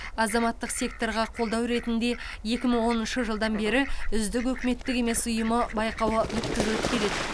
азаматтық секторға қолдау ретінде екі мың оныншы жылдан бері үздік үкіметтік емес ұйымы байқауы өткізіліп келеді